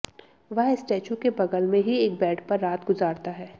वह स्टैचू के बगल में ही एक बेड पर रात गुजारता है